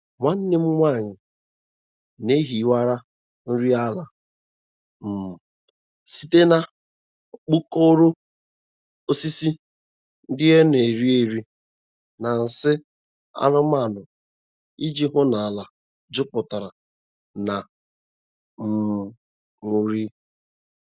Nwanne m nwanyị na-ehiwa nri ala um site na mkpokoro, osisi ndị na-ere ere na nsị anụmanụ iji hụ na ala jupụtara na um nri.